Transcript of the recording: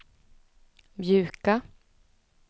mjuka